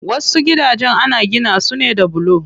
Wasu gidajen ana gina su ne da bulo.